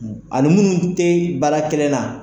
Ani minnu tɛ baara kelen na.